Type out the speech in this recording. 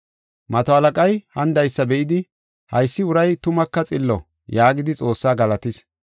Mato halaqay, hanidaysa be7idi, “Haysi uray tumaka xillo” yaagidi Xoossaa galatis.